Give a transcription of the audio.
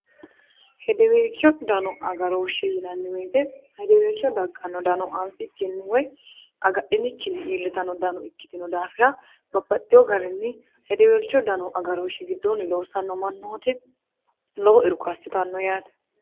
hedeweelcho dano agarooshshe yinanniwoyite hedeweelcho dagganno dano anfi kinniwoy agadhinikkinni iillitano dano ikkitino daafira babbaxxiyo garinni hedeweelcho dano agarooshshi gidduunni loossanno mannooti lobo irko assitanno yaate